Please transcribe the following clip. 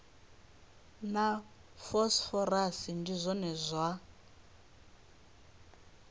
na phosphorus ndi zwone zwa